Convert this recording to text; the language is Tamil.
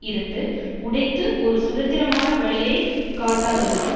இருந்து உடைத்து ஒரு சுதந்திரமான வழியை காட்டாததுடன்